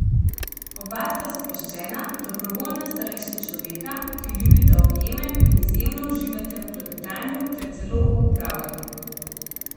Oba sta sproščena, dobrovoljna starejša človeka, ki ljubita objeme in izjemno uživata v klepetanju ter celo v opravljanju.